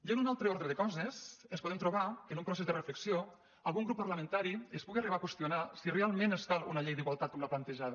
ja en un altre ordre de coses ens podem trobar que en un procés de reflexió algun grup parlamentari es pugui arribar a qüestionar si realment ens cal una llei d’igual·tat com la plantejada